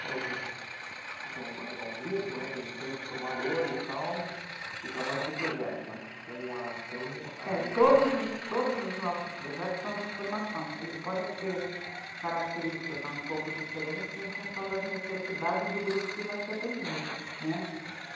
Você falou que, é um grupo, né, tem tantos formadores e tal, e trabalham por projeto, né, com a, com a rede... Todos, todos os nossos projetos são de formação, eles podem ter características um pouco diferentes em função das necessidades do grupo que vai ser atendido, né.